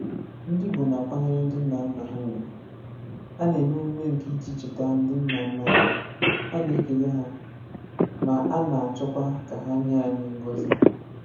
Ndị Igbo na-akwanyere ndị nna nna ha ugwu: A na-eme emume nke iji cheta ndị nna nna anyị, a na-ekele ha, ma a na-achọkwa ka ha nye anyị ngọzi.